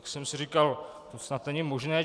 Tak jsem si říkal, to snad není možné.